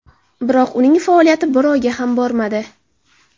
Biroq uning faoliyati bir oyga ham bormadi.